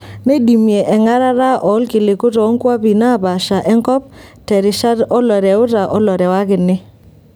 Neidimie engarata oolkiliku toonkwapi naapasha enkop terishat oloreuta olorewakini.